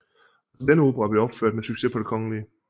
Også denne opera blev opført med succes på Det Kgl